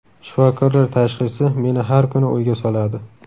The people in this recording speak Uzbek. Shifokorlar tashxisi meni har kuni o‘yga soladi.